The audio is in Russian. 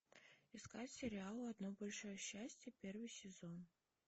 искать сериал одно большое счастье первый сезон